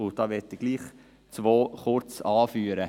Zwei davon möchte ich kurz anführen: